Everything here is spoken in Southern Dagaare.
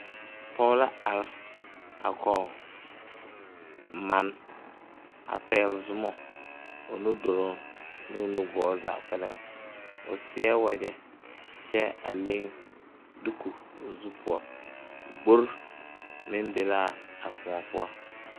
Pɔge la are a kɔge mane a pɛgle zoma o nuduloŋ ne o nugɔɔ zaa kpɛlɛŋ o seɛ wagyɛ kyɛ a leŋ diko o zu poɔ gbori meŋ be l,a koɔ poɔ.